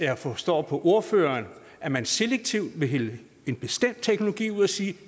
jeg forstår på ordføreren at man selektivt vil vælge en bestemt teknologi ud og sige at